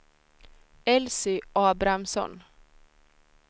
Elsy Abrahamsson